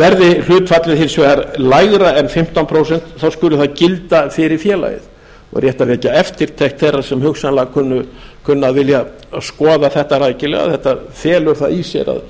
verði hlutfallið hins vegar lægra en fimmtán prósent skuli það gilda fyrir félagið og rétt að vekja eftirtekt þeirra sem hugsanlega kunna að vilja skoða þetta rækilega þetta felur það í sér að